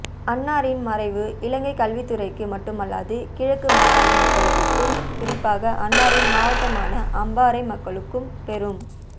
அன்னாரின் மறைவு இலங்கை கல்வித்துறைக்கு மட்டுமல்லாது கிழக்கு மாகாண மக்களுக்கும் குறிப்பாக அன்னாரின் மாவட்டமான அம்பாரை மக்களுக்கும் பெரும்